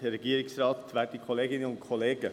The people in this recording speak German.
Kommissionssprecher der FiKo.